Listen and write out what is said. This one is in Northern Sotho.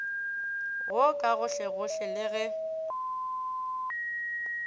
wo ka gohlegohle le ge